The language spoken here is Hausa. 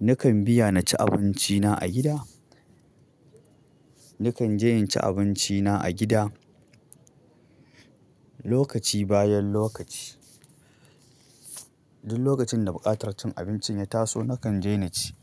nakan biya na ci abinci na a gida. Nakan je in ci abinci na a gida, lokaci bayan lokaci. Duk lokacin da buƙatar cin abincin ya taso, nakan je na ci.